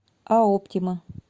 а оптима